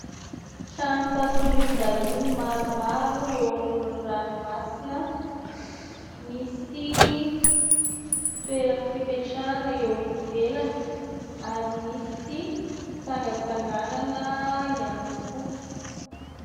Trano fatoriam-bahiny maromaro eo amoron'ny ranomasina, misy toerana fipetrahana eo ivelany ary misy fitsangantsanganana ihany koa.